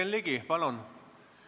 Jürgen Ligi, palun!